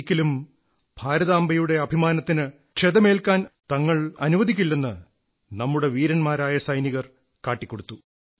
തങ്ങൾ ഒരിക്കലും ഭാരതാംബയുടെ അഭിമാനത്തിന് ക്ഷതമേൽക്കാനനുവദിക്കില്ലെന്ന്നമ്മുടെ വീര സൈനികർ കാട്ടിക്കൊടുത്തു